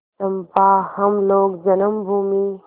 चंपा हम लोग जन्मभूमि